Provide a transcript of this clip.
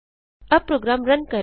अब program run करें